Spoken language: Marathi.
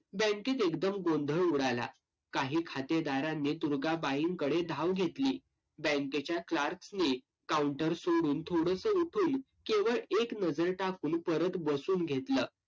बँकेत एकदम गोंधळ उडाला. काही खातेदारांनी दुर्गाबाईंकडे धाव घेतली. बँकेच्या clerk नी counter सोडून थोडेसे उठून केवळ एक नजर टाकून परत बसून घेतलं.